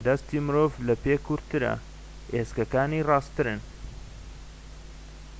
دەستی مرۆڤ لە پێ کورتترە ئێسکەکانی ڕاستترن